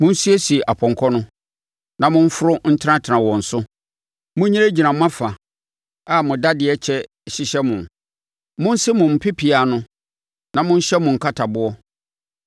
Monsiesie apɔnkɔ no, na momforo ntenatena wɔn so. Monyinagyina mo afa a mo dadeɛ kyɛ hyehyɛ mo! Monse mo mpea ano, na monhyɛ mo nkataboɔ.